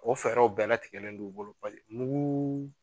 O fɛrɛw bɛɛ latigɛlen don u bolo bali muguu